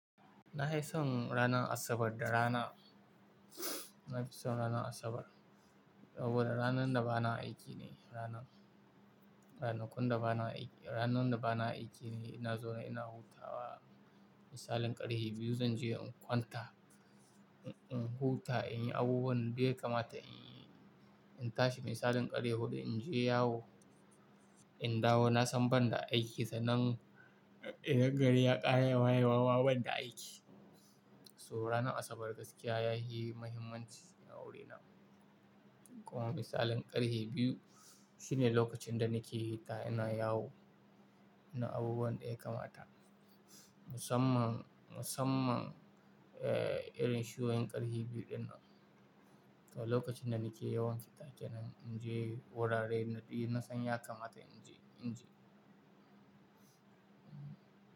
Nahi son ranar Asabar da rana. Na fi son ranar Asabar saboda ranar da ba na aiki ne, ranar, ranakun da ba na aiki, ranan da ba na aiki ne ina zaune ina hutawa. Misalin ƙarhe biyu zan je in kwanta, in, in huta, in yi abubuwan da duk ya kamata inyi, in tashi misalin ƙarhe huɗu in je yawo, in dawo na san ban da aiki sannan idan gari ya ƙara, wayewa ma ban da aiki. So ranar Asabar gaskiya yahi muhimmanci a wurina. Kuma misalin ƙarhe biyu shine lokacin da nake hita ina yawo, ina abubuwan daya kamata. Musamman, musamman, eh, irin shu'yoyin ƙarhe biyu dinnan. To lokacin da nake yawan fita kenan in je wuraren na san ya kamata in je, in je.